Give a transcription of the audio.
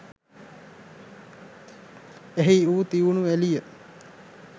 එහි වූ තියුණු එළිය